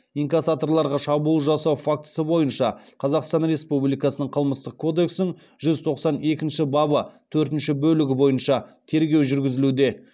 инкассаторларға шабуыл жасау фактісі бойынша қазақстан республикасының қылмыстық кодексінің жүз тоқсан екінші бабы төртінші бөлігі бойынша тергеу жүргізілуде